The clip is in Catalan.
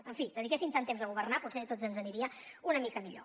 en fi dediquessin tant temps a governar potser a tots ens aniria una mica millor